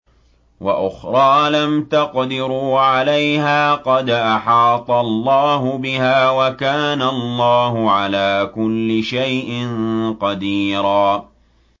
وَأُخْرَىٰ لَمْ تَقْدِرُوا عَلَيْهَا قَدْ أَحَاطَ اللَّهُ بِهَا ۚ وَكَانَ اللَّهُ عَلَىٰ كُلِّ شَيْءٍ قَدِيرًا